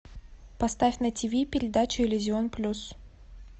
поставь на тв передачу иллюзион плюс